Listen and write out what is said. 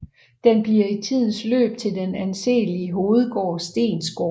Den bliver i tidens løb til den anselige hovedgård Steensgaard